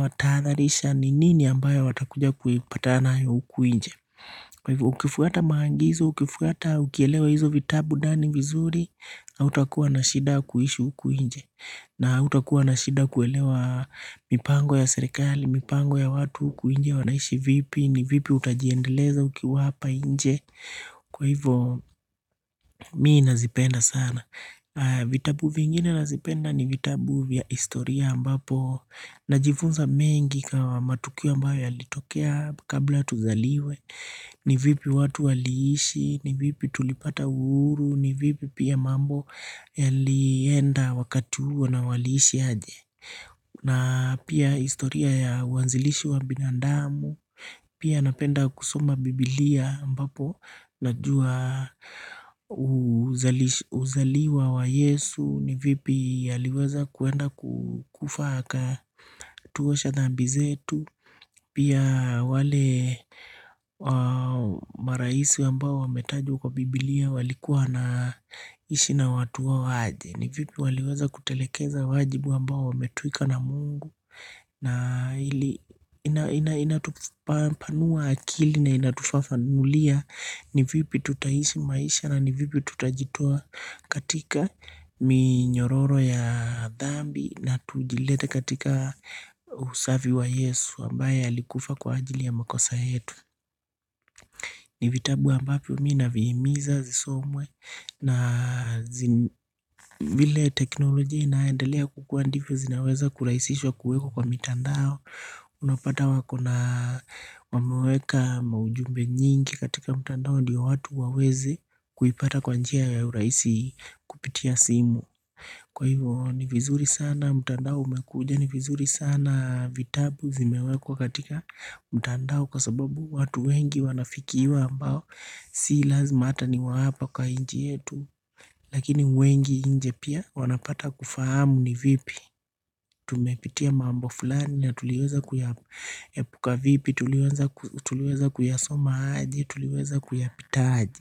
wataadharisha ni nini ambayo watakuja kupatana nayo huku nje Ukifuata maagizo, ukifuata ukielewa hizo vitabu ndani vizuri hautakuwa na shida ya kuishi huku nje na hautakuwa na shida kuelewa mipango ya serikali, mipango ya watu huku nje wanaishi vipi, ni vipi utajiendeleza ukiwa hapa nje Kwa hivo mimi nazipenda sana vitabu vingine navipenda ni vitabu vya historia ambapo Najifunza mengi kama matukio ambayo yalitokea kabla tuzaliwe ni vipi watu waliishi, ni vipi tulipata uhuru, ni vipi pia mambo yalienda wakati huo na waliishi aje na pia historia ya waanzilishi wa binadamu pia napenda kusoma biblia ambapo najua uzaliwa wa yesu ni vipi aliweza kwenda kufa aka tuosha dhambi zetu pia wale maraisi ambao wametajwa kwa biblia walikuwa na ishi na watu wao aje ni vipi waliweza kutekeleza wajibu ambao wametwikwa na Mungu na inatupanua akili na inatufafanulia ni vipi tutaishi maisha na ni vipi tutajitoa katika minyororo ya dhambi na tujilete katika usafi wa yesu ambaye alikufa kwa ajili ya makosa yetu. Ni vitabu ambavyo mimi navihimiza visomwe na vile teknolojia inaendelea kukua ndivyo zinaweza kurahisishwa kuwekwa kwa mitandao Unapata wako na wameweka ujumbe mwingi katika mitandao ndiyo watu waweze kupata kwa njia ya urahisi kupitia simu Kwa hivyo ni vizuri sana mtandao umekuja ni vizuri sana vitabu vimewekwa katika mtandao kwa sababu watu wengi wanafikiwa ambao si lazima ata ni wahapa kwa nchi yetu Lakini wengi nje pia wanapata kufahamu ni vipi tumepitia mambo fulani na tuliweza kuyaepuka vipi tuliweza kuyasoma aje tuliweza kuyapita aje.